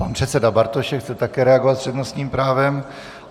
Pan předseda Bartošek chce také reagovat s přednostním právem.